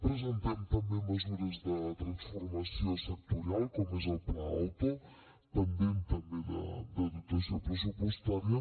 presentem també mesures de transformació sectorial com és el pla auto pendent també de dotació pressupostària